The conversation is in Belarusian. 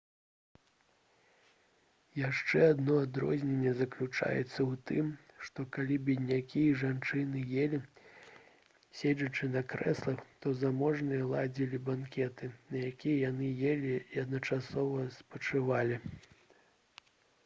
яшчэ адно адрозненне заключалася ў тым што калі беднякі і жанчыны елі седзячы на крэслах то заможныя ладзілі банкеты на якіх яны елі і адначасова спачывалі